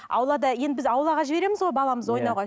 аулада енді біз аулаға жібереміз ғой баламызды ойнауға